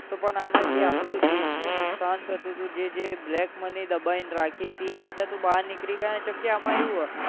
પણ આમા આપણું જે આપણા દેશ નું નુકસાન થાતું હતું જે જે black money એ દબાવીને રાખી હતી એ બધા તો બાર નીકળી જાય છે ને કેમકેઆમાં એવું હ